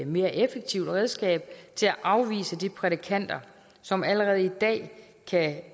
mere effektivt redskab til at afvise de prædikanter som allerede i dag